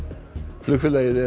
flugfélagið